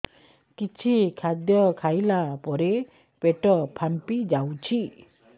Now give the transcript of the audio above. କିଛି ଖାଦ୍ୟ ଖାଇଲା ପରେ ପେଟ ଫାମ୍ପି ଯାଉଛି